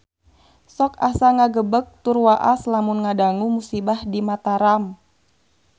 Sok asa ngagebeg tur waas lamun ngadangu musibah di Mataram